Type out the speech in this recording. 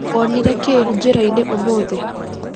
Wonire kĩ njĩrainĩ ũmũthĩ?